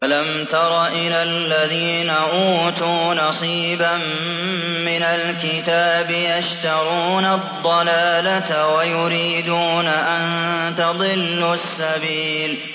أَلَمْ تَرَ إِلَى الَّذِينَ أُوتُوا نَصِيبًا مِّنَ الْكِتَابِ يَشْتَرُونَ الضَّلَالَةَ وَيُرِيدُونَ أَن تَضِلُّوا السَّبِيلَ